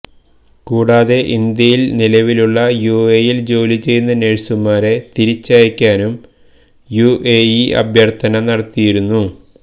കൂടാതെ ഇന്ത്യയിൽ നിലവിലുള്ള യുഎഇയിൽ ജോലി ചെയ്യുന്ന നഴ്സുമാരെ തിരിച്ചയക്കാനും യുഎഇ അഭ്യർത്ഥന നടത്തിയിരുന്നു